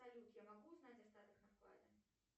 салют я могу узнать остаток на вкладе